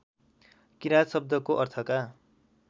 किराँत शब्दको अर्थका